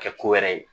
Kɛ ko wɛrɛ ye